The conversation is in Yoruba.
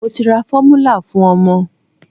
Mo ti ra fọ́múlà fún ọmọ.